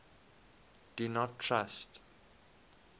do not trust